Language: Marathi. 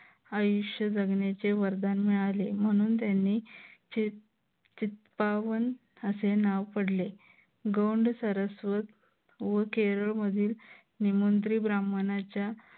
आयुष्य जगण्याचे वरदान मिळाले म्हणून त्यांनी चितपावन असे नाव पडले. गौंड सरस्वत व केरळ मधील निमंत्री ब्राह्मणाच्या